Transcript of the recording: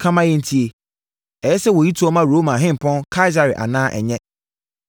Ka ma yɛntie. Ɛyɛ sɛ wɔyi toɔ ma Roma Hempɔn Kaesare anaa ɛnyɛ?”